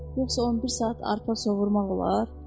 Yoxsa 11 saat arpa sovurmaq olar?